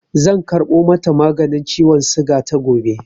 Zan karɓo mata maganin ciwon suga ta gobe.